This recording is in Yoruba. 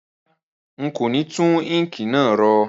Rárá, n kò ni tun ink náà ro